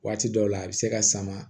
Waati dɔw la a bɛ se ka sama